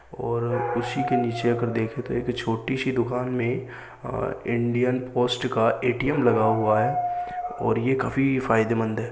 और उसी के नीचे अगर देख तो एक छोटी सी दुकान में अ इंडियन पोस्ट का एटीएम लगा हुआ है और ये काफी फायदेमंद है।